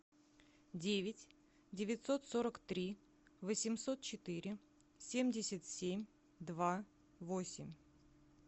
девять девятьсот сорок три восемьсот четыре семьдесят семь два восемь